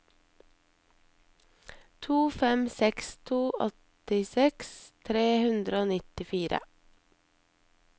to fem seks to åttiseks tre hundre og nittifire